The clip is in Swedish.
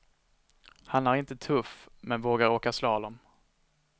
Han är inte tuff, men vågar åka slalom.